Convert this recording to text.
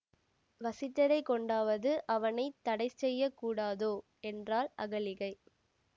வசிட்டரைக் கொண்டாவது அவனை தடைசெய்யக் கூடாதோ என்றாள் அகலிகை